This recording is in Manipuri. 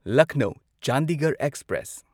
ꯂꯛꯅꯧ ꯆꯥꯟꯗꯤꯒꯔꯍ ꯑꯦꯛꯁꯄ꯭ꯔꯦꯁ